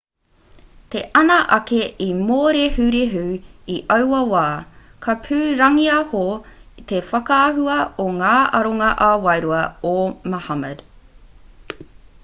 te ana ake i mōrehurehu i aua wā ka pūrangiaho te whakaahua o ngā aronga ā-wairua o muhammad